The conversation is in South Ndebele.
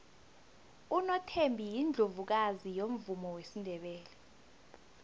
unothembi yiundlovukazi yomvumo wesindebele